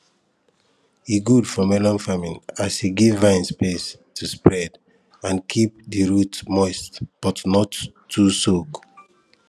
e good for melon farming as e give vine space to spread and keep di root moist but no too soak